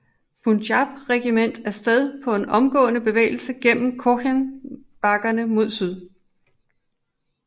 Punjab Regiment af sted på en omgående bevægelse gennem Cochen bakkerne mod syd